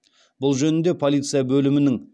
бұл жөнінде полиция бөлімінің